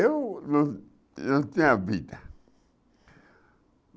Eu não não tinha vida.